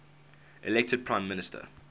elected prime minister